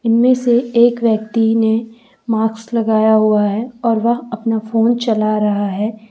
इनमें से एक व्यक्ति ने मास्क लगाया हुआ है और वह अपना फोन चला रहा है।